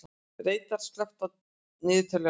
Reidar, slökktu á niðurteljaranum.